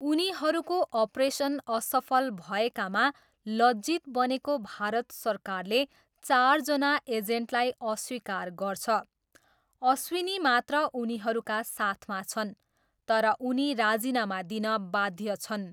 उनीहरूको अपरेसन असफल भएकामा लज्जित बनेको भारत सरकारले चारजना एजेन्टलाई अस्वीकार गर्छ, अश्विनी मात्र उनीहरूका साथमा छन्, तर उनी राजिनामा दिन बाध्य छन्।